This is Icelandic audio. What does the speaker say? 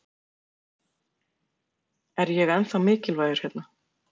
Er ég ennþá mikilvægur hérna?